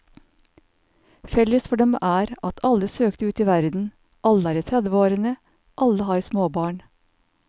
Felles for dem er at alle søkte ut i verden, alle er i tredveårene, alle har småbarn.